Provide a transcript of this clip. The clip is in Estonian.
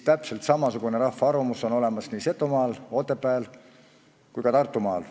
Täpselt samasugune rahva arvamus on olemas nii Setomaal, Otepääl kui ka Tartumaal.